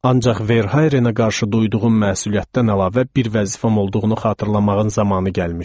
Ancaq Verharenə qarşı duyduğum məsuliyyətdən əlavə bir vəzifəm olduğunu xatırlamağın zamanı gəlmişdi.